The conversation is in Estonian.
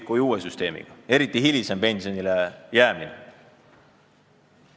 ... kui uue süsteemiga, eriti hilisema pensionile jäämise mõttes.